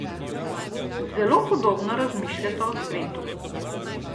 Zelo podobno razmišljata o svetu.